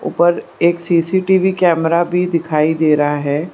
पर एक CCTV camera भी दिखाई दे रहा है।